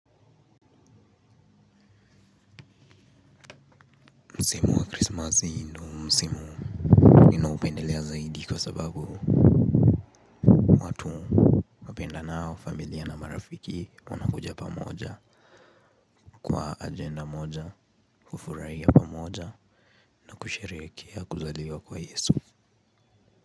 Msimu wa krisimasi ndo msimu nina upendelea zaidi kwa sababu watu wapendanao familia na marafiki wanakuja pamoja kwa ajenda moja, kufurahia pamoja na kusherehekea kuzaliwa kwa Yesu.